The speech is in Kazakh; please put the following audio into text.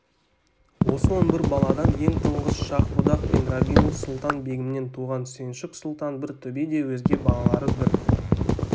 осы он бір баладан ең тұңғыш шах-будақ пен рабину-сұлтан-бегімнен туған сүйіншік сұлтан бір төбе де өзге балалары бір